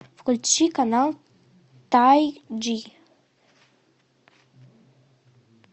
включи канал тай джи